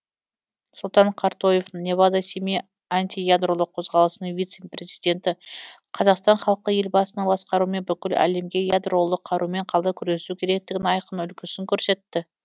сұлтан картоев невада семей антиядролық қозғалысының вице президенті қазақстан халқы елбасының басқаруымен бүкіл әлемге ядролық қарумен қалай күресу керектігінің айқын үлгісін көрсетті